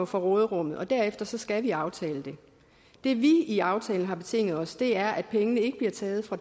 fra råderummet og derefter skal vi aftale det det vi i aftalen har betinget os er at pengene ikke bliver taget fra